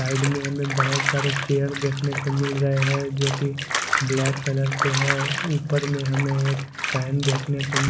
side में हमें बहुत सारे चेयर देखने को मिल रहे हैं जो कि ब्लैक कलर के हैं ऊपर में हमें एक फैन देखने को--